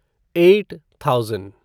eight thousand